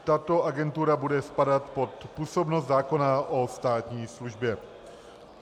Tato agentura bude spadat pod působnost zákona o státní službě.